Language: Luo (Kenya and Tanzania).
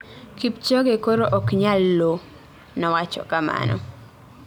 Kipchoge koro ok nyal loo," nowacho kamano.